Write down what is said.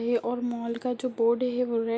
है और मॉल का जो बोर्ड है वो रेड --